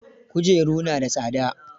Kujeru na da tsada